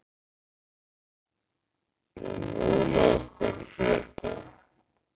Enóla, hvað er að frétta?